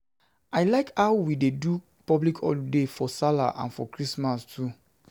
I like how we dey do public holiday for sallah and for christmas too